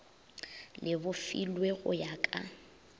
le bofilwe go ya ka